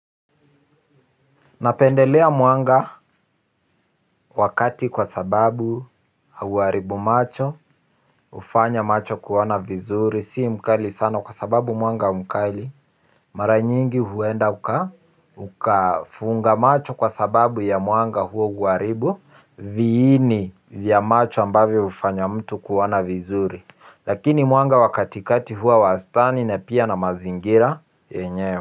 Napendelea mwanga wa kati kwa sababu hauharibu macho, hufanya macho kuona vizuri, si mkali sana kwa sababu mwanga mkali mara nyingi huenda ukafunga macho kwa sababu ya mwanga huo huharibu viini vya macho ambavyo hufanya mtu kuona vizuri lakini mwanga wa kati kati huwa wastani na pia na mazingira yenyewe.